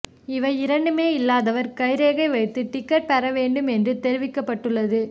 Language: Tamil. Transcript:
இவை இரண்டுமே இல்லாதவர் கைரேகை வைத்து டிக்கெட் பெற வேண்டும் என்றும் தெரிவிக்கப்பட்டு உள்ளது